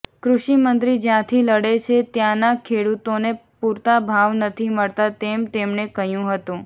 કૃષિ મંત્રી જ્યાંથી લડે છે ત્યાંના ખેડૂતોને પૂરતા ભાવ નથી મળતા તેમ તેમણે કહ્યું હતું